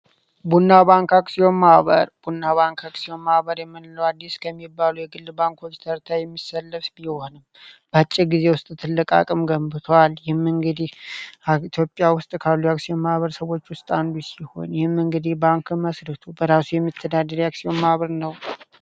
አዲስ ከሚባሉ የክልል ባንኮች የሚሰለፍ ቢሆንም በአጭሩ ትልቅ አቅም ገንብቷል ኢትዮጵያ ውስጥ ካሉ አክሲዮን ማህበረሰቦች መንገዴ ባንኩ በራሴ መተዳደሪያ አክሲዮን ማህበር ነው